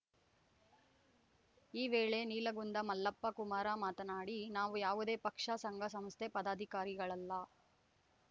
ಈ ವೇಳೆ ನೀಲಗುಂದ ಮಲ್ಲಪ್ಪ ಕುಮಾರ ಮಾತನಾಡಿ ನಾವು ಯಾವುದೇ ಪಕ್ಷ ಸಂಘಸಂಸ್ಥೆ ಪದಾಧಿಕಾರಿಗಳಲ್ಲ